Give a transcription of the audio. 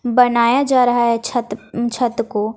बनाया जा रहा है छत उम् छत को--